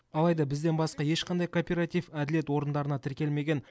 алайда бізден басқа ешқандай кооператив әділет орындарына тіркелмеген